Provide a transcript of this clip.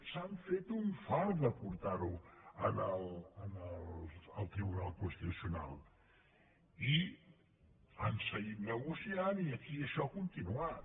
s’han fet un fart de portar ho al tribunal constitucional i han seguit negociant i aquí això ha continuat